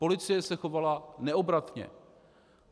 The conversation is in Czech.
Policie se chovala neobratně.